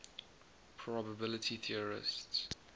probability theorists